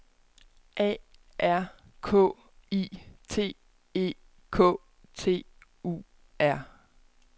A R K I T E K T U R